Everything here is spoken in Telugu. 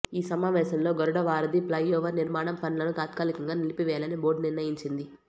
ఈ సమావేశంలో గరుడ వారధి ప్లైఓవర్ నిర్మాణం పనులను తాత్కాలికంగా నిలిపి వేయాలని బోర్డు నిర్ణయించింది